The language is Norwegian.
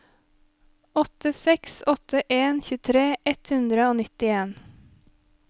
åtte seks åtte en tjuetre ett hundre og nittien